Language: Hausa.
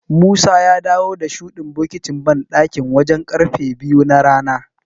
Musa ya dawo da shuɗin bokitin banɗakin wajen ƙarfe biyu na rana.